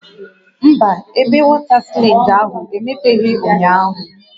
Mba, ebe wọta slaịdị ahụ emepeghị ụnyaahụ